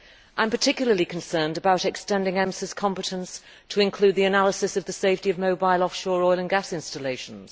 I am particularly concerned about extending EMSA's competence to include the analysis of the safety of mobile off shore and gas installations.